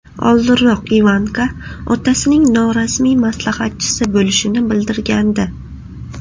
Oldinroq Ivanka otasining norasmiy maslahatchisi bo‘lishini bildirgandi.